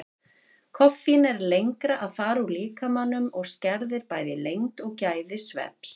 Koffín er lengi að fara úr líkamanum og skerðir bæði lengd og gæði svefns.